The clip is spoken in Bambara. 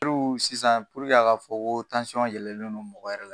sisan a ka fɔ ko yɛlɛnen non mɔgɔ yɛrɛ la